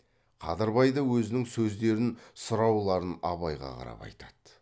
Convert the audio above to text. қадырбай да өзінің сөздерін сұрауларын абайға қарап айтады